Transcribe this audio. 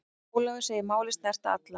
Ólafur segir málið snerta alla.